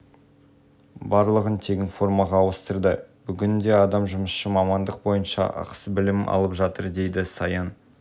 павлодар облысы еліміз бойынша алғашқылардың бірі болып орындады яғни жұмысшы мамандықтар бойынша білім алатын жастардың